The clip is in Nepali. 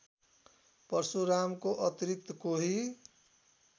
परशुरामको अतिरिक्त कोही